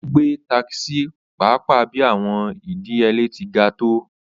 O gbe takisi paapaa bi awọn idiyele ti ga to